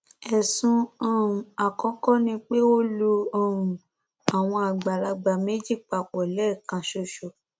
ẹsùn um àkọkọ ni pé ó lu um àwọn àgbàlagbà méjì papọ lẹẹkan ṣoṣo